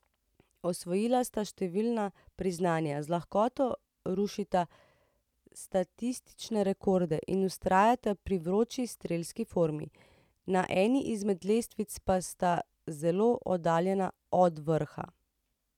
Osvojila sta številna priznanja, z lahkoto rušita statistične rekorde in vztrajata pri vroči strelski formi, na eni izmed lestvic pa sta zelo oddaljena od vrha.